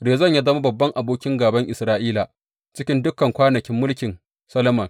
Rezon ya zama babban abokin gāban Isra’ila cikin dukan kwanakin mulkin Solomon.